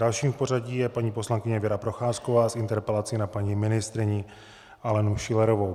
Dalším v pořadí je paní poslankyně Věra Procházková s interpelací na paní ministryni Alenu Schillerovou.